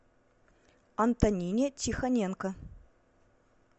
антонине тихоненко